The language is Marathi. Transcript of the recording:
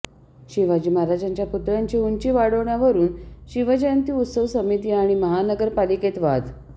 शिवाजी महाराजांच्या पुतळ्याची उंची वाढवण्यावरून शिवजयंती उत्सव समिती आणि महानगर पालिकेत वाद